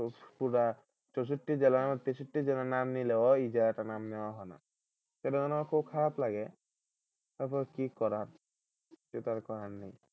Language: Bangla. পুরা চৌষট্টি জেলা তেষট্টি জেলার নাম নিলেও এই জায়গাটার নাম নেওয়া হয় না তখন আমার খুব খারাপ লাগে তারপরও কি করা কিছুতো আর করার নেই।